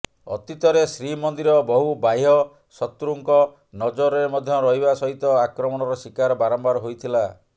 ଅତୀତରେ ଶ୍ରୀମନ୍ଦିର ବହୁ ବାହ୍ୟ ସତୃଙ୍କ ନଜରରେ ମଧ୍ୟ ରହିବା ସହିତ ଆକ୍ରମଣର ଶିକାର ବାରମ୍ବାର ହୋଇଥିଲା